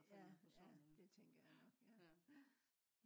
ja ja det tænker jeg nok ja